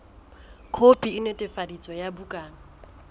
khopi e netefaditsweng ya bukana